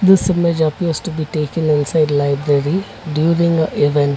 this image appears to be taken inside library during a event.